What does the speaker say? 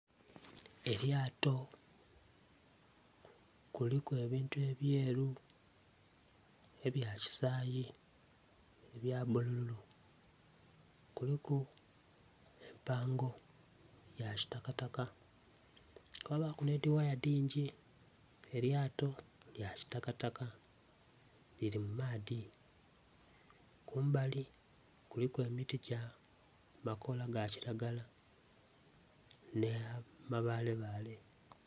Elyato kuliku ebintu ebyeru, ebya kisayi, ebya bululu. Kuliku empango ya kitakataka kwabaku nh'edi waaya dingi elyato lya kitakataka. Liri mu maadhi. Kumbali kuliku emiti gya amakoola ga kilagala, nh'amabaalebaale